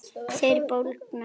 Þeir bólgna.